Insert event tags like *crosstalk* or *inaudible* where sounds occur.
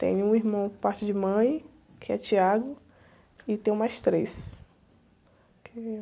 Tenho um irmão que parte de mãe, que é, *unintelligible* e tenho mais três.